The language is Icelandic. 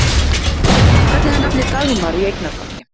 Hvernig er nafnið Dagmar í eignarfalli?